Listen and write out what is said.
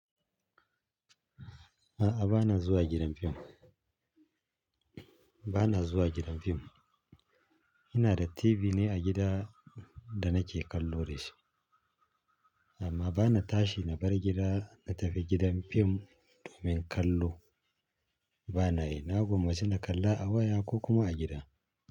A'a, ba na zuwa gidan fim. Ba na zuwa gidan fim. Ina da TV ne a gida da nake kallo da shi. Amma ba na tashi na bar gida na tafi gidan fim domin kallo. Ba na yi. Na gwammaci na kalla a waya ko kuma a gida.